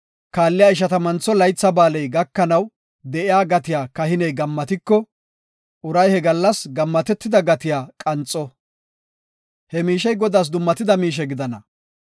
kaalliya Ishatammantho Laytha Ba7aaley gakanaw de7iya gatiya kahiney gammatiko, uray he gallas gammatida gatiya qanxo; He miishey Godaas dummatida miishe gidana.